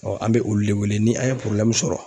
an bɛ olu de wele ni an ye sɔrɔ